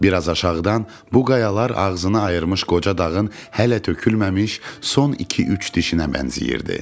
Bir az aşağıdan bu qayalar ağzını ayırmış qoca dağın hələ tökülməmiş son iki-üç dişinə bənzəyirdi.